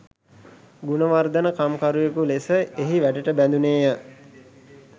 ගුණවර්ධන කම්කරුවෙකු ලෙස එහි වැඩට බැඳුණේය.